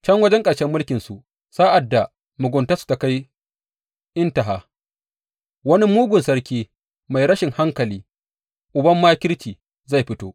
Can wajen ƙarshe mulkinsu, sa’ad da muguntarsu ta kai intaha, wani mugun sarki mai rashin hankali, uban makirci, zai fito.